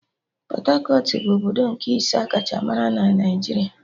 Pọt-akọt bụ obodo nke ise akacha mara na Naijiria